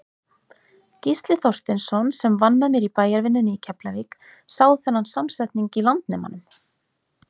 Gísli Þorsteinsson, sem vann með mér í bæjarvinnunni í Keflavík, sá þennan samsetning í Landnemanum.